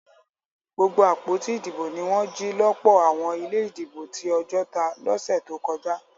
Gbogbo àpótí ìdìbò ní wọn jì lọpọ àwọn ilé ìdìbò tí Ojota lọsẹ tó kọjá